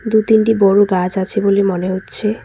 দু-তিনটি বড় গাছ আছে বলে মনে হচ্ছে।